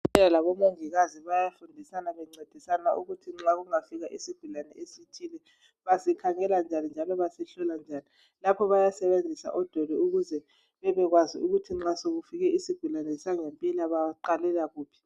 Odokotela labomongikazi bayafundisana bencedisana ukuthi nxa kungafika isigulane esithile basikhangela njani njalo basihlola njani lapho bayasebenzisa odoli ukuze babekwazi ukuthi nxa sekufike isigulane baqalela kuphi.